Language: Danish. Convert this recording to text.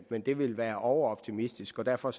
men det ville være overoptimistisk og derfor